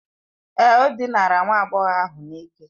Èé, o dinara nwa agbọghọ ahụ n'ike.